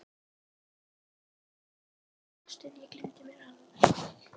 Ástin, ég gleymdi mér alveg!